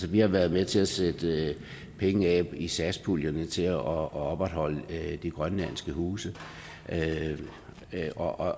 vi har været med til at sætte penge af i satspuljen til at opretholde de grønlandske huse og